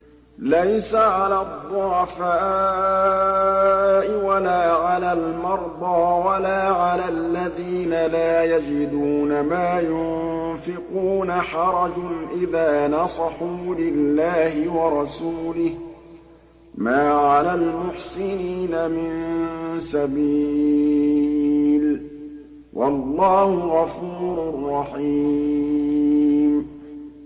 لَّيْسَ عَلَى الضُّعَفَاءِ وَلَا عَلَى الْمَرْضَىٰ وَلَا عَلَى الَّذِينَ لَا يَجِدُونَ مَا يُنفِقُونَ حَرَجٌ إِذَا نَصَحُوا لِلَّهِ وَرَسُولِهِ ۚ مَا عَلَى الْمُحْسِنِينَ مِن سَبِيلٍ ۚ وَاللَّهُ غَفُورٌ رَّحِيمٌ